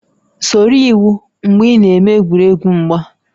Soro iwu mgbe ị na-eme egwuregwu mgba